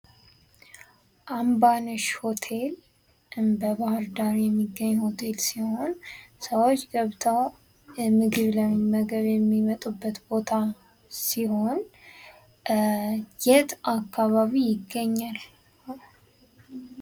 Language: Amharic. አምባ ነሽ ሆቴል በባህር ዳር የሚገኝ ሆቴል ሲሆን ሰዎች ገብተው ምግብ ለመመገብ የሚመጡበት ቦታ ሲሆን የት አካባቢ ይገኛል?